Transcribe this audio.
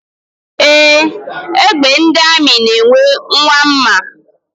Ee, egbe ndị amị na-enwe nwa mma.